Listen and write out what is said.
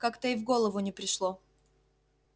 как-то и в голову не пришло